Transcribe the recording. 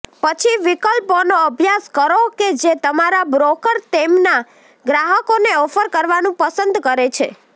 પછી વિકલ્પોનો અભ્યાસ કરો કે જે તમારા બ્રોકર તેમના ગ્રાહકોને ઓફર કરવાનું પસંદ કરે છે